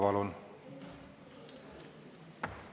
Palun!